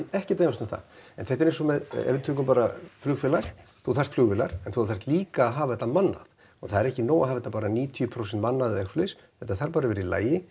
ekkert að efast um það en þetta er eins og með ef við tökum bara flugfélag þú þarft flugvélar en þú þarft líka að hafa þetta mannað og það er ekki nóg að hafa þetta bara níutíu prósent mannað eða svoleiðis þetta þarf bara að vera í lagi